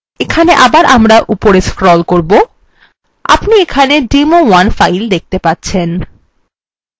এখানে আবার আমরা উপরে scroll করবো আপনি এখানে demo1 file দেখতে পাচ্ছেন